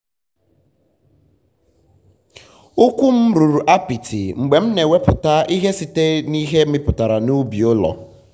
ụkwụ m ruru apịtị mgbe m na-eweputa ihe site n'ihe mipụtara n'ubi ụlọ.